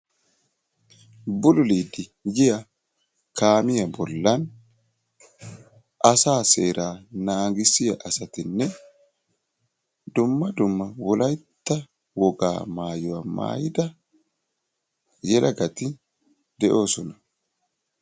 bululiidi yiya kaamiya bolan asaa seeraa naagissiya asatinne dumma dumma wolaytta wogaa maayuwa maayida yelagati de'oosona.